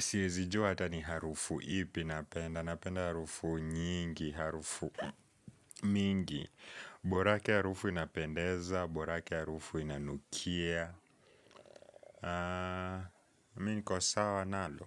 Siwezi jua hata ni harufu ipi napenda. Napenda harufu nyingi, harufu mingi. Borake harufu inapendeza, borake harufu inanukia. Mi niko sawa nalo.